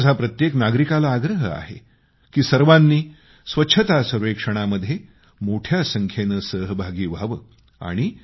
आणि माझा प्रत्येक नागरिकाला आग्रह आहे की सर्वांनी स्वच्छता सर्वेक्षणामध्ये मोठ्या संख्येनं सहभागी व्हावं